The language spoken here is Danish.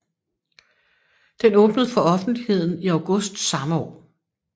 Den åbnede for offentligheden i august samme år